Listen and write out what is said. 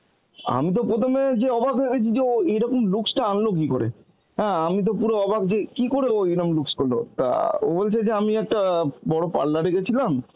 আমি তো প্রথমে যে অবাক হয়েছি যে ও এরকম looks টা আনলো কী করে? হ্যাঁ আমি তো পুরো অবাক যে কী করে ও এরকম looks করল? তা ও বলছে যে আমি একটা বড় parlour এ গেছিলাম